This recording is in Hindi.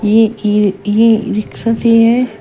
एक ई रिक्शा भी है।